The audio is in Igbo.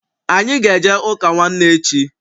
Anyị ga- eje ụka nwanne echi.